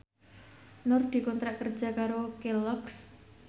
Nur dikontrak kerja karo Kelloggs